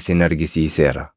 isin argisiiseera.”